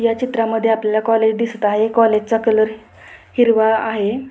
या चित्रामध्ये आपल्याला कॉलेज दिसत आहे कॉलेजचा कलर हिरवा आहे.